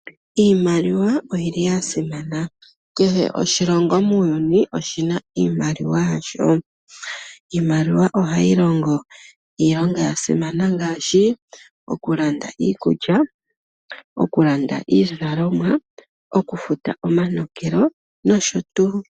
Iimaliwa oyili yasimana. Kehe oshilongo muuyuni oshina iimaliwa yasho. Iimaliwa ohayi longo iilonga yasimana ngaashi okulanda iikulya, okulanda iizalomwa, okufuta omanokelo nosho tuu.